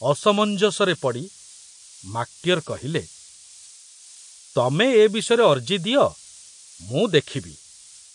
ଅସମଞ୍ଜସରେ ପଡ଼ି ମାକଟିଅର କହିଲେ, ତମେ ଏ ବିଷୟରେ ଅର୍ଜି ଦିଅ, ମୁଁ ଦେଖୁଛି।